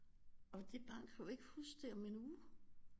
Og det barn kan jo ikke huske det om en uge